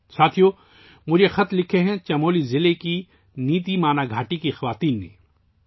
ساتھیو ، یہ خط مجھے چمولی ضلع کی نیتی مانا وادی کی خواتین نے لکھے ہیں